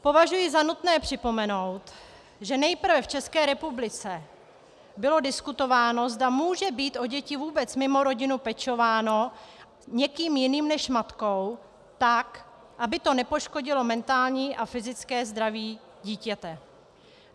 Považuji za nutné připomenout, že nejprve v České republice bylo diskutováno, zda může být o děti vůbec mimo rodinu pečováno někým jiným než matkou, tak aby to nepoškodilo mentální a fyzické zdraví dítěte.